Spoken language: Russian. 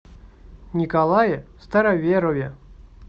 николае староверове